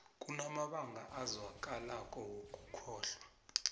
kunamabanga azwakalako wokukholwa